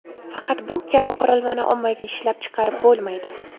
Faqat bu kabi qurilmani ommaviy ishlab chiqarib bo‘lmaydi.